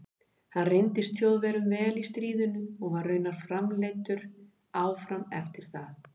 Hann reyndist Þjóðverjum vel í stríðinu og var raunar framleiddur áfram eftir það.